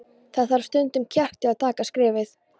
Það þarf stundum kjark til að taka skrefið.